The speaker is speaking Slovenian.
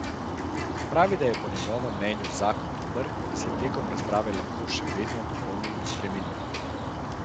Pravi, da je po njegovem mnenju zakon dober in se tekom razprave lahko še vedno dopolni in spremeni.